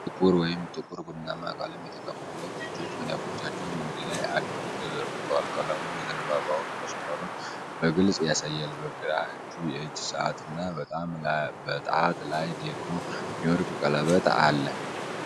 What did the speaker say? ጥቁር ወይም ጥቁር ቡናማ ቀለም የተቀቡ ሁለት እጆች መዳፎቻቸውን ወደ ላይ አድርገው ተዘርግተዋል። ቀለሙ የዘንባባውን መስመሮች በግልጽ ያሳያል። በግራ እጁ የእጅ ሰዓት እና በጣት ላይ ደግሞ የወርቅ ቀለበት አለ።